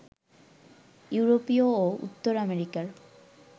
ইউরোপীয় ও উত্তর আমেরিকার